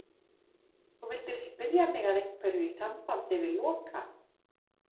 Þú vildir spyrja mig að einhverju í sambandi við Loka.